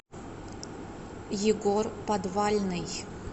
егор подвальный